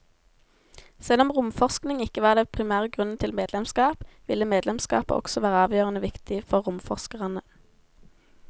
Selv om romforskning ikke var den primære grunnen til medlemskap, ville medlemskapet også være avgjørende viktig for romforskerne.